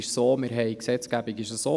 In der Gesetzgebung ist es so: